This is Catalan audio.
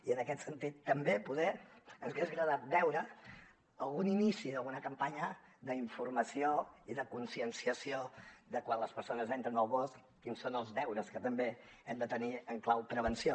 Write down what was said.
i en aquest sentit també poder ens hagués agradat veure algun inici d’alguna campanya d’informació i de conscienciació de quan les persones entren al bosc quins són els deures que també hem de tenir en clau prevenció